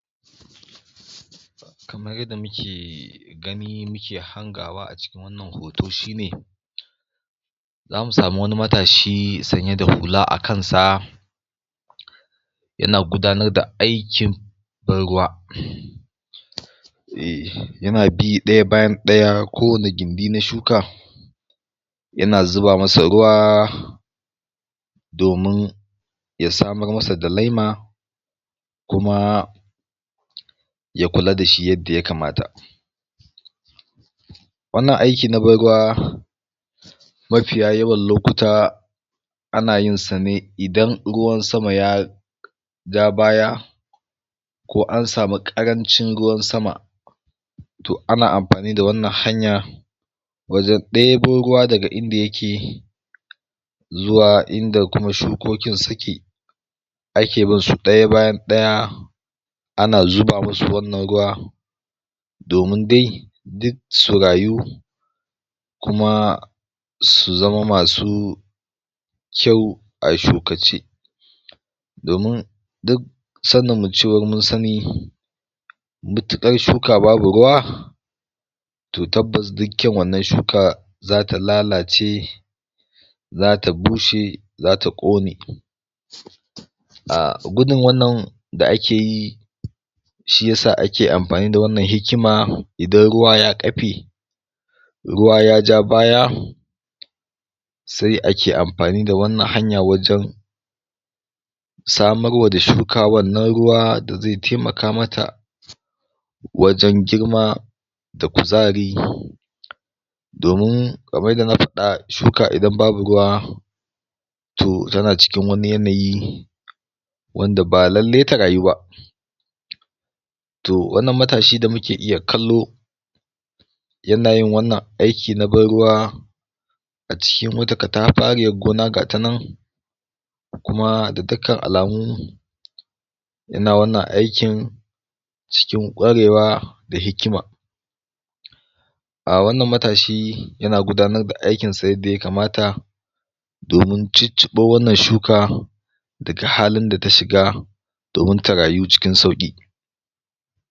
kamar yadda muke gani muke hangawa a cikin wannan hoto shine zamu samu wani matashi sanye da hula a kansa yana gudanar da aikin ban ruwa eh yana bi ɗaya bayan ɗaya kowane gindi na shuka yana zuba masa ruwa domin ya samar masa da laima kuma ya kula da shi yadda ya kamata wannan aiki na ban ruwa mafiya yawan lokuta ana yin sa ne idan ruwan sama ya ja baya ko an samu ƙarancin ruwan sama to ana amfani da wannan hanya wajen ɗebo ruwa daga inda yake zuwa inda kuma shukokin suke ake bin su ɗaya bayan ɗaya ana zuba musu wannan ruwa domin dai duk su rayu kuma su zama masu kyau a shukace domin duk sanin mu cewar mun sani matuƙar shuka babu ruwa to tabbas duk kyaun wannan shuka zata lalace zata bushe zata ƙone um gudun wannan da ake yi shiyasa ake amfani da wannan hikima idan ruwa ya ƙafe ruwa ya ja baya se ake amfani da wannan hanya wajen samar wa da shuka wannan ruwa da ze temaka mata wajen girma da kuzari domin kamar yadda na faɗa shuka idan babu ruwa toh tana cikin wani yanayi wanda ba lalle ta rayu ba to wannan matashi da muke iya kallo yana yin wannan aiki na ban ruwa a cikin wata kataɓariyar gona ga ta nan kuma da dukkan alamu yana wannan aikin cikin ƙwarewa da hikima um wannan matashi yana gudanar da aikin sa yadda ya kamata domin cicciɓo wannan shuka daga halin da ta shiga domin ta rayu cikin sauƙi